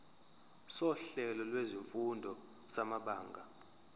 sohlelo lwezifundo samabanga